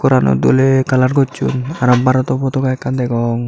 gorano doley colour gosson aro baroto potoga ekkan degong.